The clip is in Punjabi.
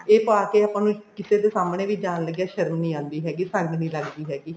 ਇਹ ਪਾਕੇ ਆਪਾਂ ਨੂੰ ਕਿਸੇ ਦੇ ਸਾਹਮਣੇ ਵੀ ਜਾਨ ਲੱਗਿਆ ਸ਼ਰਮ ਨਹੀਂ ਆਂਦੀ ਹੈਗੀ ਸੰਗ ਨੀ ਲੱਗਦੀ ਹੈਗੀ